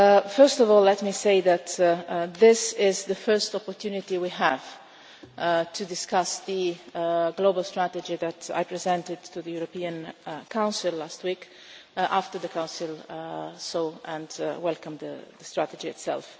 First of all let me say that this is the first opportunity we have had to discuss the global strategy that I presented to the European Council last week after the Council saw and welcomed the strategy itself.